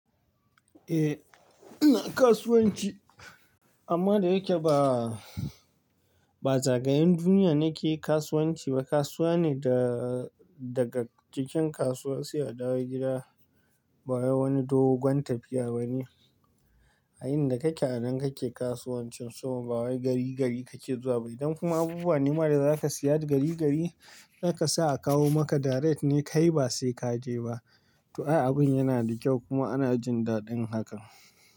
Eh, ina kasuwanci amma da yake ba, ba zagayen duniya nake kasuwanci ba. Kasuwa ne da daga cikin kasuwa sai a dawo gida. Ba wai wani dogon tafiya ba ne. A inda kake a nan kake kasuwancin so ba wai gari gari kake zuwa ba. Idan kuma abubuwa nima da za ka siya da gari gari za ka sa a kawo maka direct ne kai ba sai ka je ba. To ai abun yana da kyau kuma ana jin daɗin hakan.